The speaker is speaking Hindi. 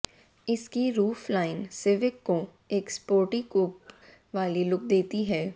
इसकी रूफ लाइन सिविक को एक स्पोर्टी कूप वाली लुक देती है